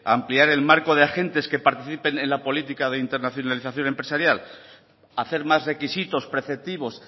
ampliar el marco de agentes que participen en la política de internacionalización empresarial hacer más requisitos preceptivos